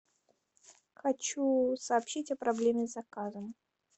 хочу сообщить о проблеме с заказом